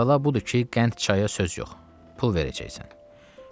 Əvvəla budur ki, qənd çaya söz yox, pul verəcəksən.